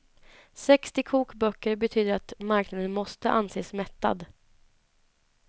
Sextio kokböcker betyder att marknaden måste anses mättad.